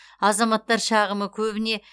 азаматтар шағымы көбіне